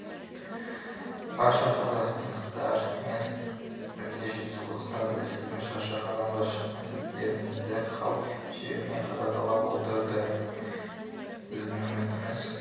барша қазақстандықтармен бірге жетісулықтар да сіздің шаршы алаңға шыққан сәттеріңізді қалт жібермей қадағалап отырды біздің үмітіміз